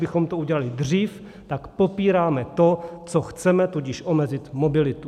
Kdybychom to udělali dřív, tak popíráme to, co chceme, tudíž omezit mobilitu.